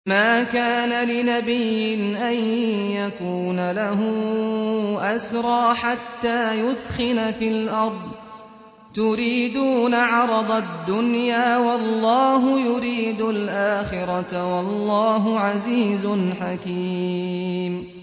مَا كَانَ لِنَبِيٍّ أَن يَكُونَ لَهُ أَسْرَىٰ حَتَّىٰ يُثْخِنَ فِي الْأَرْضِ ۚ تُرِيدُونَ عَرَضَ الدُّنْيَا وَاللَّهُ يُرِيدُ الْآخِرَةَ ۗ وَاللَّهُ عَزِيزٌ حَكِيمٌ